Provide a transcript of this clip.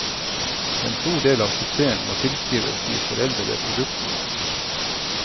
En stor del av suksessen må tilskrives de foredlede produktene.